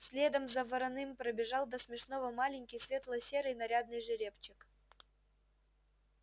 следом за вороным пробежал до смешного маленький светло-серый нарядный жеребчик